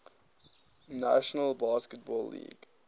national basketball league